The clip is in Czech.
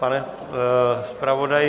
Pane zpravodaji?